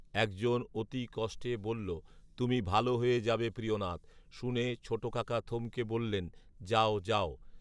একজন অতি কষ্টে বললো, তুমি ভালো হয়ে যাবে প্রিয়নাথ৷ শুনে ছোটকাকা থমকে বললেন যাও যাও